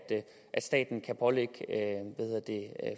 staten kan pålægge